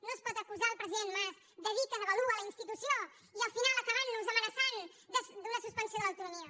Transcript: no es pot acusar el president mas de dir que devalua la institució i al final acabant nos amenaçant d’una suspensió de l’autonomia